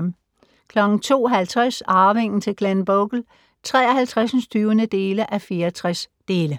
02:50: Arvingen til Glenbogle (53:64)